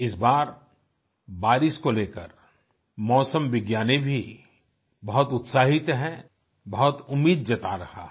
इस बार बारिश को लेकर मौसम विज्ञानी भी बहुत उत्साहित हैं बहुत उम्मीद जता रहा है